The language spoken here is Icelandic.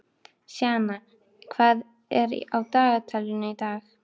Sjana, hvað er á dagatalinu í dag?